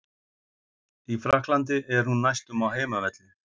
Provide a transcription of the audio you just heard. Í Frakklandi er hún næstum á heimavelli.